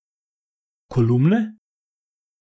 Kolumne?